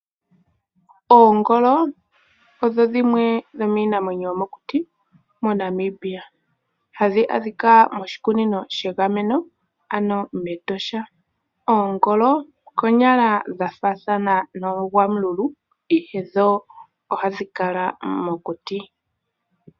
Oongolo odho dhimwe dhomiinamwenyo yomokuti moNamibia. Ohadhi adhika moshikunino shegameno, ano mEtosha. Oongolo okonyala dha faathana noogwamululu, ihe dho ohadhi kala mokuti.